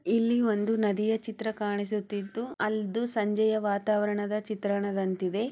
ಇಲ್ಲಿ ಒಂದು ನದಿಯ ಚಿತ್ರ ಕಾಣಿಸುತ್ತಿದ್ದು ಅದು ಸಂಜೆಯ ವಾತಾವರಣ ಚಿತ್ರದಂತಿದೆ .